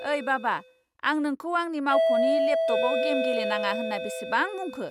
ओइ बाबा, आं नोंखौ आंनि मावख'नि लेपटपआव गेम गेलेनाङा होनना बेसेबां बुंखो?